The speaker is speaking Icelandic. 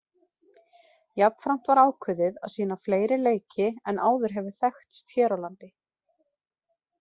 Jafnframt var ákveðið að sýna fleiri leiki en áður hefur þekkst hér á landi.